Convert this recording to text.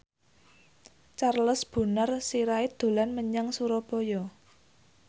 Charles Bonar Sirait dolan menyang Surabaya